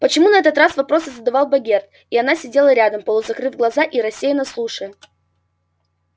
почему на этот раз вопросы задавал богерт а она сидела рядом полузакрыв глаза и рассеянно слушая